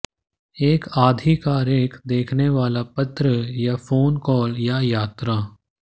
एक आधिकारिक दिखने वाला पत्र या फोन कॉल या यात्रा